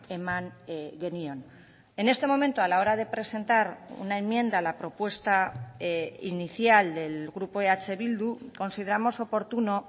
eman genion en este momento a la hora de presentar una enmienda a la propuesta inicial del grupo eh bildu consideramos oportuno